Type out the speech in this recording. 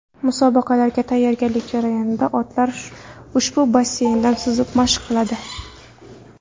Musobaqalarga tayyorgarlik jarayonida otlar ushbu basseynda suzib, mashq qiladi.